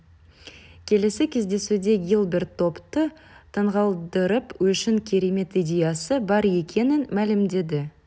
келесі кездесуде гилберт топты таңғалдырып үшін керемет идеясы бар екенін мәлімдеді